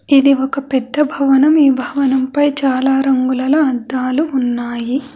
ఇది ఒక పెద్ద భవనం ఈ భవనం పై చాలా రంగులలో అద్దాలు ఉన్నాయి.